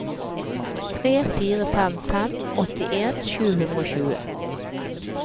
tre fire fem fem åttien sju hundre og tjue